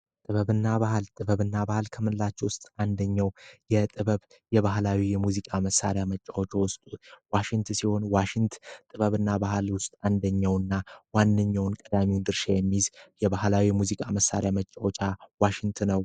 ጥበብና ባህል ጥበብና ባህል ክምላችሁ ውስጥ አንደኛው የጥበብ የባህላዊ የሙዚቃ መሣሪያ መጫወቻዎች ዋሽንት ሲሆን፤ ዋሽንት ጥበብና ባህል ውስጥ አንደኛውና ዋነኛውን ቀዳሚው ድርሻ የሚይዝ የባህላዊ ሙዚቃ መሣሪያ መጫወቻ ዋሽንት ነው።